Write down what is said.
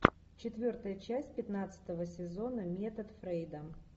четвертая часть пятнадцатого сезона метод фрейда